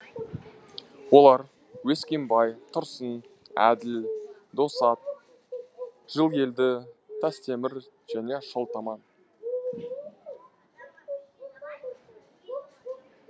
олар өскенбай тұрсын әділ досат жылгелді тастемір және шолтаман